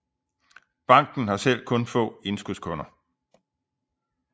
Banken har selv kun få indskudskunder